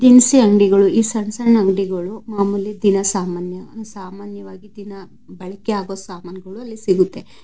ದಿನಸಿ ಅಂಗಡಿಗಳು ಈ ಸಣ್ಣ ಸಣ್ಣ ಅಂಗಡಿಗಳು ಮಾಮೂಲಿ ದಿನ ಸಾಮಾನ್ಯ ಸಾಮಾನ್ಯವಾಗಿ ದಿನ ಬಳಕೆ ಆಗೋ ಸಾಮಗ್ರಿಗಳು ಇಲ್ಲಿ ಸಿಗುತ್ತೆ.